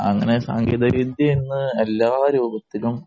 അങ്ങനെ സാങ്കേതിക വിദ്യ ഇന്ന് എല്ലാരൂപത്തിലും